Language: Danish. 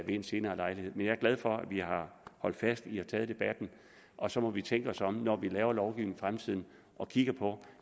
en senere lejlighed men jeg er glad for at vi har holdt fast i og taget debatten og så må vi tænke os om når vi laver lovgivning i fremtiden og kigge på